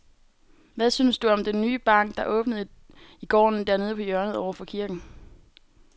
Hvad synes du om den nye bank, der åbnede i går dernede på hjørnet over for kirken?